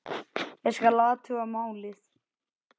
Ég skal athuga málið